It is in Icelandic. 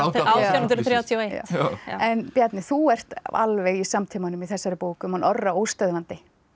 átján hundruð þrjátíu og eitt en Bjarni þú ert alveg í samtímanum í þessari bók um hann Orra óstöðvandi